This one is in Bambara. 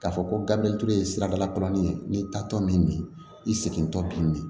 K'a fɔ ko gabiriyɛri ye siradalakalanin ye n'i taatɔ min i segintɔ bi